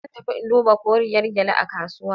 Zan tafi in duba koriyar gyalle a kasuwa.